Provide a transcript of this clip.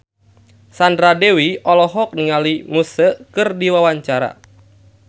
Sandra Dewi olohok ningali Muse keur diwawancara